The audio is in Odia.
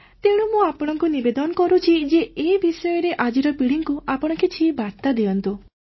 ତେଣୁ ମୁଁ ଆପଣଙ୍କୁ ନିବେଦନ କରୁଛି ଯେ ଏ ବିଷୟରେ ଆଜିର ପିଢ଼ିକୁ ଆପଣ କିଛି ବାର୍ତ୍ତା ଦିଅନ୍ତୁ